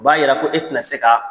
O b'a yira ko e tɛna se kaa